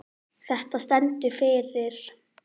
Þetta stendur fyrir